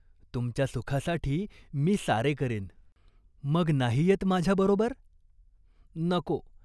तुमच्या सुखासाठी मी सारे करेन." " मग नाही येत माझ्याबरोबर?" "नको.